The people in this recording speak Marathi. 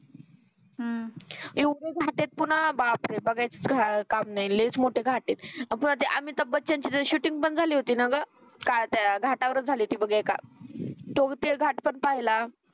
एवढे घाट आहे पुन्हा बापरे बघायचीच काम नाही लईच मोठे घाट आहे. पुन्हा ते अभिताभ बच्चन ची शूटिंग पण झाली होती ना गं काय ते घाटावर झाली होती बग एका तो ते घाट पण पाहिला.